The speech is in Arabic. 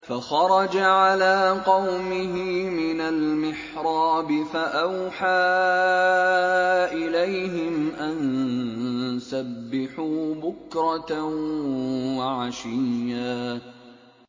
فَخَرَجَ عَلَىٰ قَوْمِهِ مِنَ الْمِحْرَابِ فَأَوْحَىٰ إِلَيْهِمْ أَن سَبِّحُوا بُكْرَةً وَعَشِيًّا